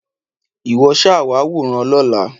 Ìwọ ṣáà wá wòran lọ́la.